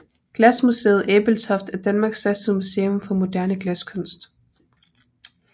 Glasmuseet Ebeltoft er Danmarks største museum for moderne glaskunst